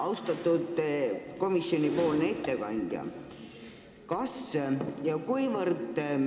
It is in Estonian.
Austatud komisjoni ettekandja!